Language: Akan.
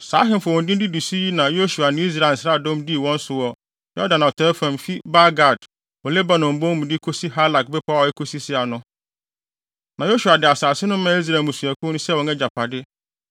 Saa ahemfo a wɔn din didi so yi na Yosua ne Israel nsraadɔm dii wɔn so wɔ Yordan atɔe fam fi Baal-Gad wɔ Lebanon bon mu de kosi Halak bepɔw a ekosi Seir no. (Na Yosua de asase no maa Israel mmusuakuw no sɛ wɔn agyapade,